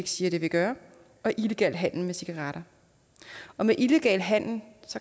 siger det vil gøre og illegal handel med cigaretter og med illegal handel